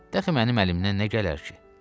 Dəxi mənim əlimdən nə gələr ki?